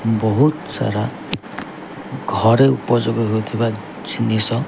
ବହୁତ୍ ସାରା ଘରେ ଉପଯୋଗ ହେଉଥିବା ଜିନିଷ।